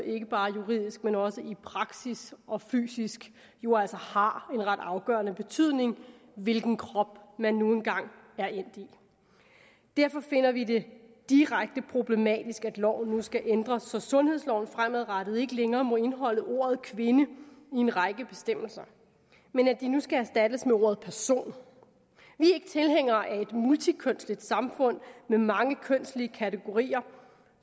ikke bare juridisk men også praktisk og fysisk jo altså har en ret afgørende betydning hvilken krop man nu engang er endt i derfor finder vi det direkte problematisk at loven nu skal ændres så sundhedsloven fremadrettet ikke længere må indeholde ordet kvinde i en række bestemmelser men at det nu skal erstattes af ordet person vi er ikke tilhængere af et multikønsligt samfund med mange kønslige kategorier